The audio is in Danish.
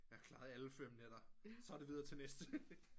Jeg klarede alle fem nætter så er det videre til næste